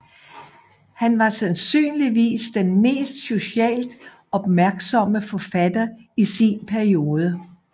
Han var sandsynligvis den mest socialt opmærksomme forfatter i sin periode